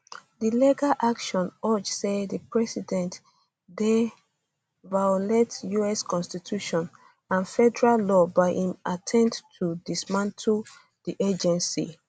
di legal action argue say di president dey violate us constitution and federal law by im attempt to dismantle di di agency